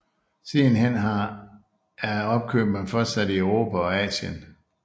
Sidenhen har er opkøbene fortsat i Europa og Asien